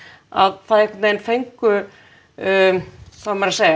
að það einhvern veginn fengu hvað á maður að segja